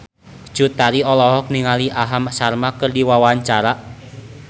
Cut Tari olohok ningali Aham Sharma keur diwawancara